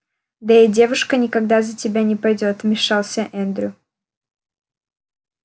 да и девушка никогда за тебя не пойдёт вмешался эндрю